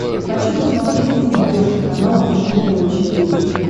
хочу посмотреть на смотрешке канал фэшен тв четыре к